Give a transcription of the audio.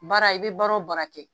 Baara i bɛ baara o baara kɛ